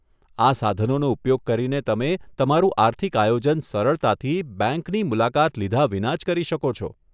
આ સાધનોનો ઉપયોગ કરીને તમે તમારું આર્થિક આયોજન સરળતાથી, બેંકની મુલાકાત લીધાં વિના જ કરી શકો છો.